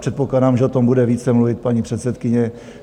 Předpokládám, že o tom bude více mluvit paní předsedkyně.